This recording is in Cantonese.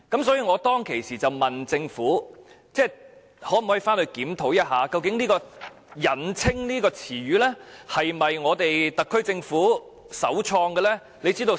所以，我當時問政府可否檢討一下，究竟"引稱"一詞是否特區政府自創的呢？